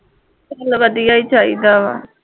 ਚੱਲ ਵਧੀਆ ਹੀ ਚਾਹੀਦਾ ਵਾ